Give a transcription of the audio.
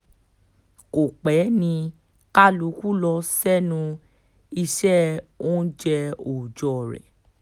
kò pẹ́ ni kálukú ló ṣẹnu iṣẹ́ oúnjẹ òòjọ́ rẹ̀